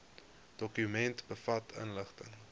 dokument bevat inligting